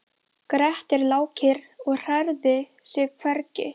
Grettir lá kyrr og hrærði sig hvergi.